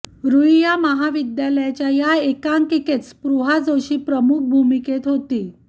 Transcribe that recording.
रूईया महाविद्यालयाच्या या एकांकिकेत स्पृहा जोशी प्रमुख भूमिकेत होती